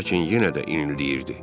Lakin yenə də inildəyirdi.